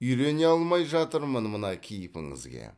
үйрене алмай жатырмын мына кейпіңізге